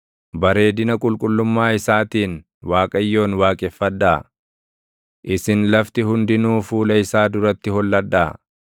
Bareedina qulqullummaa isaatiin Waaqayyoon waaqeffadhaa; isin lafti hundinuu fuula isaa duratti holladhaa.